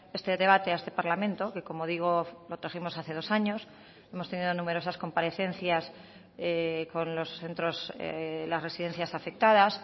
este debate a este parlamento que como digo lo trajimos hace dos años hemos tenido numerosas comparecencias con los centros las residencias afectadas